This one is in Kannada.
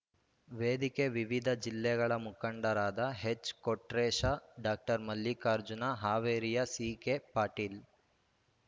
ವೇದಿಕೆ ವಿವಿಧ ಜಿಲ್ಲೆಗಳ ಮುಖಂಡರಾದ ಎಚ್‌ಕೊಟ್ರೇಶ ಡಾಕ್ಟರ್ ಮಲ್ಲಿಕಾರ್ಜುನ ಹಾವೇರಿಯ ಸಿಕೆಪಾಟೀಲ್